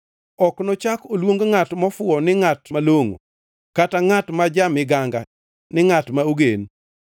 Ok nochak oluong ngʼat mofuwo ni ngʼat malongʼo, kata ngʼat ma ja-miganga ni ngʼat ma ogen.